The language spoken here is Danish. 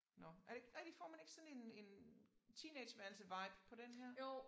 Nåh er det ikke rigtigt får man ikke sådan en en teenageværelsevibe på den her